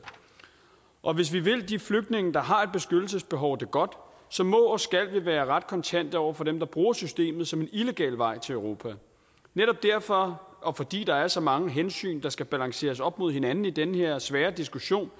og hvis vi vil de flygtninge der har et beskyttelsesbehov det godt så må og skal vi være ret kontante over for dem der bruger systemet som en illegal vej til europa netop derfor og fordi der er så mange hensyn der skal balanceres op mod hinanden i den her svære diskussion